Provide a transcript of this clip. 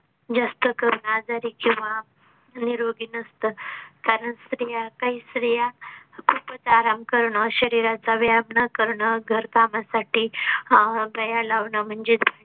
जास्त करून आजारी किंवा निरोगी नसत. कारण स्रिया काही स्रिया खूपच आराम करून अह शरीराचा व्यायाम न करण घरकामासाठी अह बाया लावणं म्हणजेच